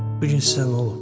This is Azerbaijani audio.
Bu gün sizə nə olub?